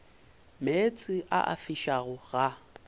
meetse a a fišago ga